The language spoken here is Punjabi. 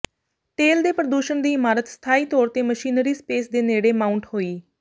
ਤੇਲ ਦੇ ਪ੍ਰਦੂਸ਼ਣ ਦੀ ਇਮਾਰਤ ਸਥਾਈ ਤੌਰ ਤੇ ਮਸ਼ੀਨਰੀ ਸਪੇਸ ਦੇ ਨੇੜੇ ਮਾਊਂਟ ਹੋਈ